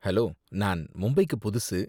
hello, நான் மும்பைக்கு புதுசு